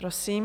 Prosím.